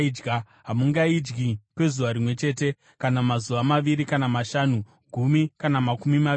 Hamungaidyi kwezuva rimwe chete, kana mazuva maviri kana mashanu, gumi kana makumi maviri,